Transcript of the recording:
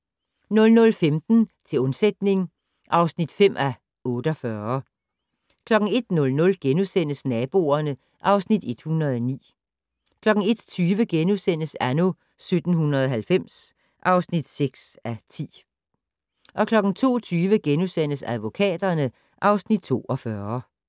00:15: Til undsætning (5:48) 01:00: Naboerne (Afs. 109)* 01:20: Anno 1790 (6:10)* 02:20: Advokaterne (Afs. 42)